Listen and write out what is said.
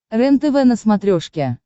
рентв на смотрешке